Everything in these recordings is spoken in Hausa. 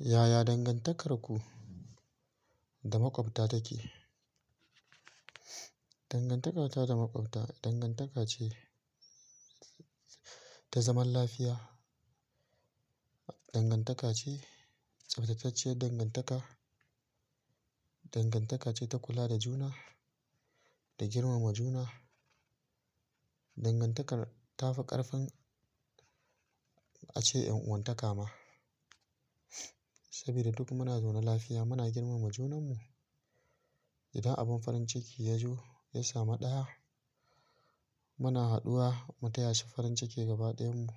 Yaya dangantakarku da maƙwabta take? Dangantaka ta da maƙwabta dangantaka ce ta zaman lafiya. Dangantaka ce, tsaftatacciyar dangantaka. Dangantaka ce ta kula da juna, da girmama juna. Dangantakar tafi ƙarfin ace yan'wanta ka ma. Saboda duk muna zaune lafiya muna girmama junan mu. Idan abin farin ciki ya zo, ya sami ɗaya, muna haduwa mu taya shi farin ciki gaba ɗayan mu.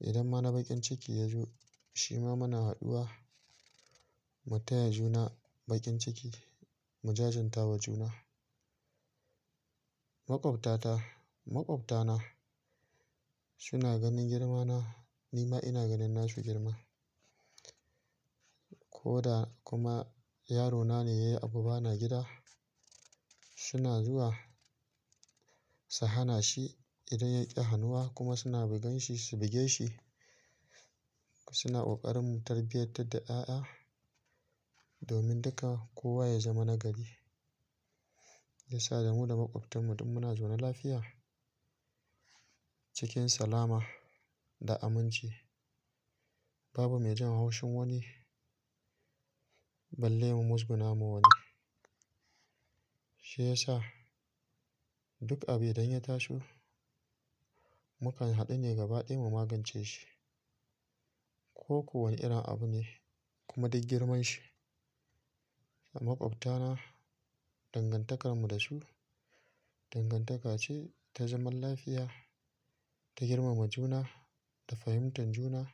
Idan ma na bakin ciki ya zo, shi ma muna haduwa mu taya juna bakin ciki, mu jajantawa juna. Maƙwabta ta, maƙwabta na suna ganin girma na, ni ma ina ganin na su girma. Ko da kuma yaro na ne yayi abu bana gida, suna zuwa su hana shi idan yaƙi hanuwa kuma suna bugan shi, su buge shi. Suna ƙoƙarin tarbiyatar da ƴa'ƴa domin duka kowa ya zama nagari. Ya sa da mu da maƙwabtan mu duk muna zaune lafiya, cikin salama da aminci. Babu mai jin haushin wani, balle mu muzguna ma wani. Shi ya sa duk abu idan ya taso, mukan haɗu ne gaba ɗaya mu magance shi. Ko ko wane irin abu ne kuma duk girman shi. Maƙwabta na dangantakar mu da su dangantaka ce ta zaman lafiya, ta girmama juna, ta fahimtan juna.